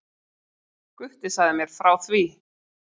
Gutti sagði mér frá því.